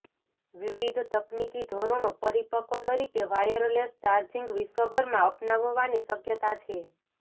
વિવિધ તકનીકી ધોરણો પરિપક્વ તરીકે વાયરલેસ ચાર્જિંગ વિશ્વભરમાં અપનાવવાની શક્યતા છે